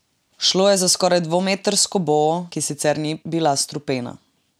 Šlo je za skoraj dvometrsko boo, ki sicer ni bila strupena.